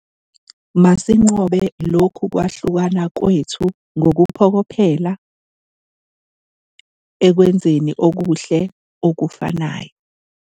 Masinqobe lokhu kwahlukana kwethu ngokuphokophelela ekwenzeni okuhle okufanayo.